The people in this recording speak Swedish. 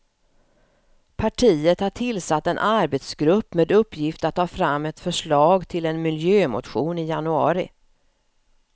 Partiet har tillsatt en arbetsgrupp med uppgift att ta fram ett förslag till en miljömotion i januari.